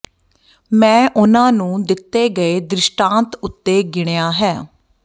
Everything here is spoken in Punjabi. ਮੈਂ ਉਨ੍ਹਾਂ ਨੂੰ ਦਿੱਤੇ ਗਏ ਦ੍ਰਿਸ਼ਟਾਂਤ ਉੱਤੇ ਗਿਣਿਆ ਹੈ